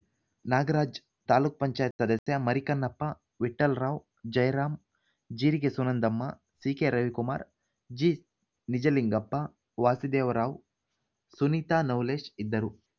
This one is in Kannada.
ನಾಗರಾಜ್‌ ತಾಲೂಕ್ ಪಂಚಾಯತ್ ಸದಸ್ಯ ಮರಿಕನ್ನಪ್ಪ ವಿಠ್ಠಲ್‌ರಾವ್‌ ಜಯರಾಮ್‌ ಜೀರಿಗೆ ಸುನಂದಮ್ಮ ಸಿಕೆ ರವಿಕುಮಾರ್ ಜಿ ನಿಜಲಿಂಗಪ್ಪ ವಾಸುದೇವರಾವ್‌ ಸುನೀತಾ ನವುಲೇಶ್‌ ಇದ್ದರು